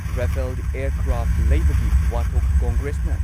Rafale aircraft ꯂꯩꯕꯒꯤ ꯋꯥꯊꯣꯛ ꯀꯣꯡꯒ꯭ꯔꯦꯁꯅ